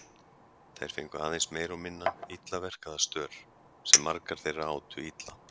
Þær fengu aðeins meira og minna illa verkaða stör sem margar þeirra átu illa.